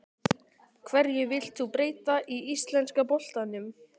Hverju vilt þú breyta í íslenska boltanum?